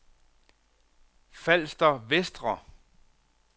Falster Vestre